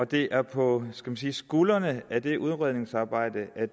det er på skuldrene af det udredningsarbejde at